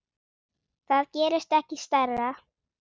Það gerist ekki stærra.